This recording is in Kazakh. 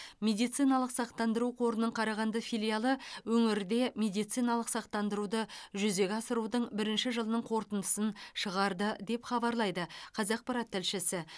медициналық сақтандыру қорының қарағанды филиалы өңірде медициналық сақтандыруды жүзеге асырудың бірінші жылының қорытындысын шығарды деп хабарлайды қазақпарат тілшісі